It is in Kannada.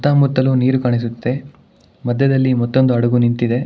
ಸುತ್ತಮುತ್ತಲು ನೀರು ಕಾಣಿಸುತ್ತೆ ಮಧ್ಯದಲ್ಲಿ ಮತ್ತೊಂದು ಹಡಗು ನಿಂತಿದೆ.